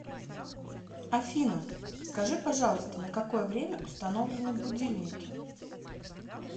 афина скажи пожалуйста на какое время установлены будильники